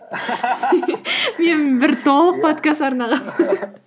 мен бір толық подкаст арнағанмын